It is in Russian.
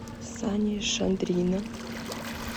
сани шадрина